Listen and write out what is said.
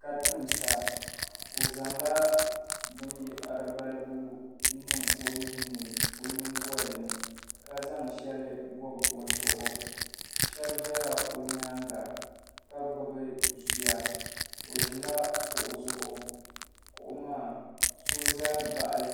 ka timisa o zaŋla bini yahiri balibu n niŋ o nuhi ni o yiŋgolini ka zaŋ shɛli bɔbi o zuɣu shɛba zala o yɛanga ka gbibi zuya o zɛla kuɣu zuɣu kuɣu maa so zami baɣili